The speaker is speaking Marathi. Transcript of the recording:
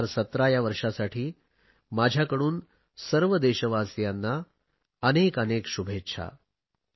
2017 या वर्षासाठी माझ्याकडून सर्व देशवासियांना अनेकानेक शुभेच्छा